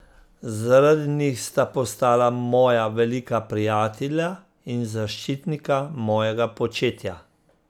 Zaradi njih sta postala moja velika prijatelja in zaščitnika mojega početja.